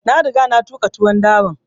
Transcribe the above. Na riga na tuƙa tuwon dawan